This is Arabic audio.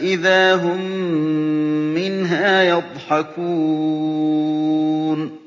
إِذَا هُم مِّنْهَا يَضْحَكُونَ